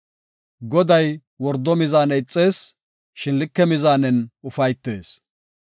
Goday wordo mizaane ixees; shin like mizaanen ufaytees.